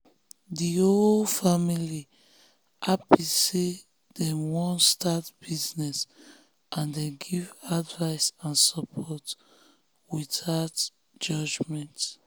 the whole family happy say dem wan start business and dem give advice and support without judgment.